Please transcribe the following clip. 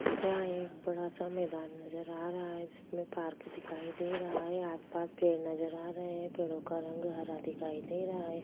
यहाँ एक बड़ा सा मैदान नजर आ रहा है जिसमें पार्क दिखाई दे रहा है आस-पास पेड़ नजर आ रहा है पेड़ो का रंग हरा दिखाई दे रहा हैं।